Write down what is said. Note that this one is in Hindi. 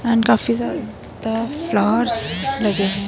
एंड काफी सारे द फ्लॉवर्स लगे है।